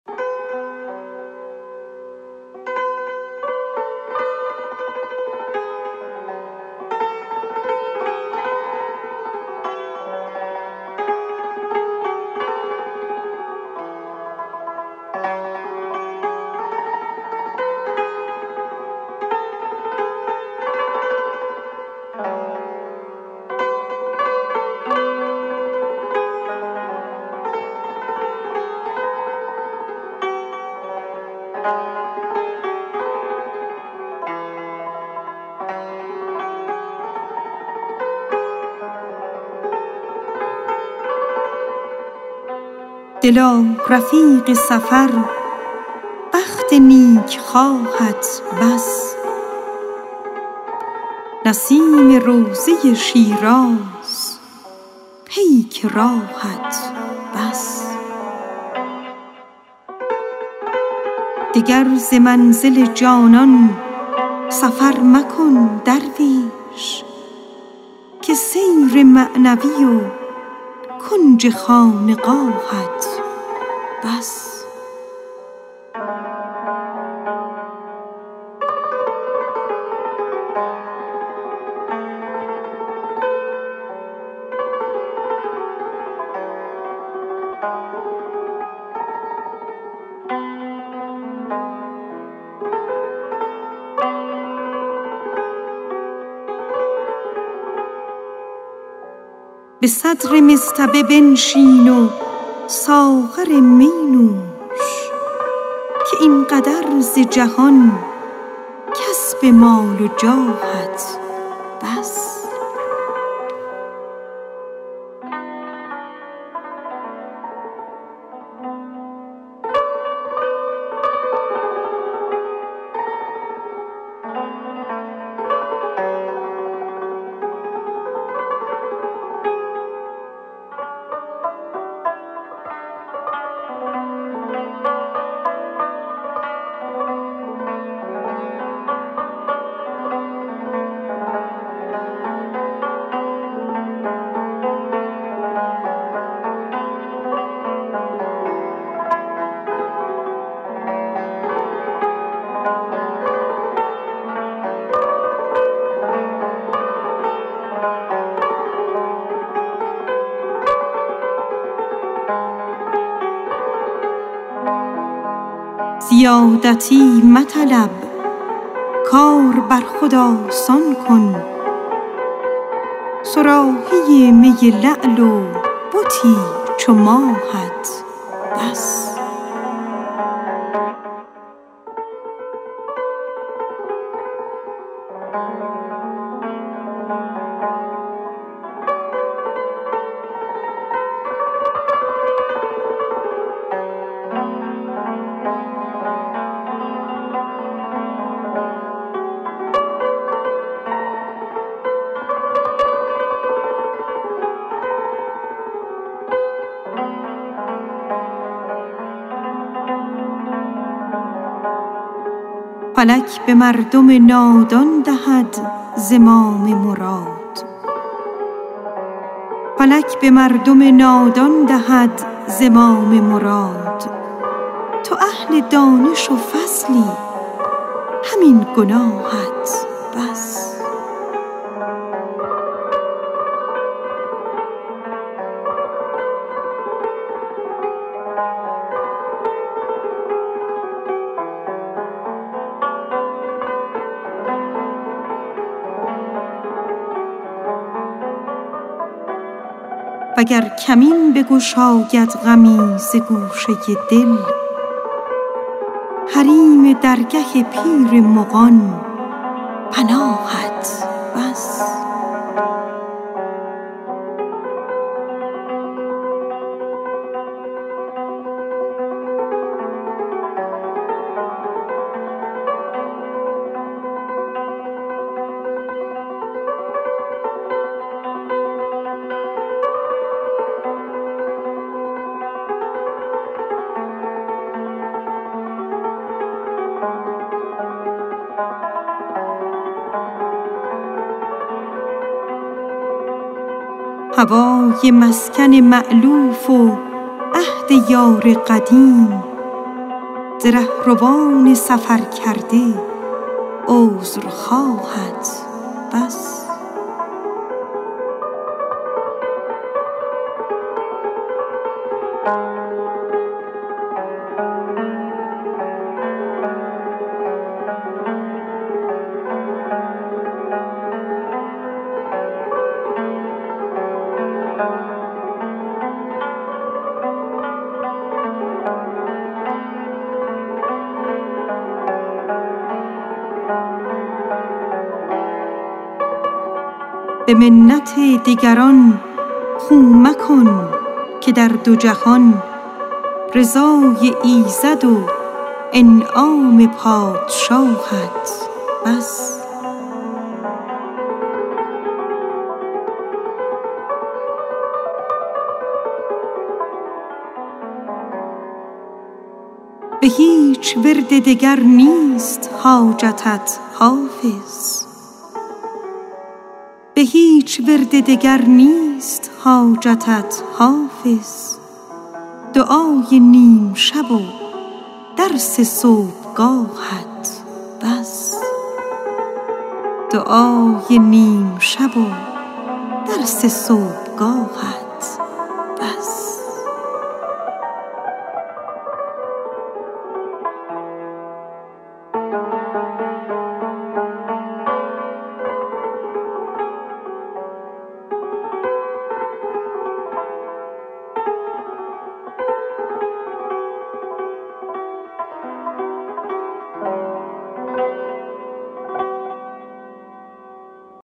دلا رفیق سفر بخت نیکخواهت بس نسیم روضه شیراز پیک راهت بس دگر ز منزل جانان سفر مکن درویش که سیر معنوی و کنج خانقاهت بس وگر کمین بگشاید غمی ز گوشه دل حریم درگه پیر مغان پناهت بس به صدر مصطبه بنشین و ساغر می نوش که این قدر ز جهان کسب مال و جاهت بس زیادتی مطلب کار بر خود آسان کن صراحی می لعل و بتی چو ماهت بس فلک به مردم نادان دهد زمام مراد تو اهل فضلی و دانش همین گناهت بس هوای مسکن مألوف و عهد یار قدیم ز رهروان سفرکرده عذرخواهت بس به منت دگران خو مکن که در دو جهان رضای ایزد و انعام پادشاهت بس به هیچ ورد دگر نیست حاجت ای حافظ دعای نیم شب و درس صبحگاهت بس